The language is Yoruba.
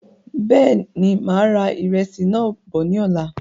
Bẹ́ẹ̀ni, máa ra ìrẹsì náà bọ̀ ní ọ̀la